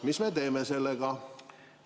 Mis me teeme sellega?